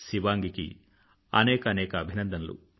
శివాంగికి అనేకానేక అభినందనలు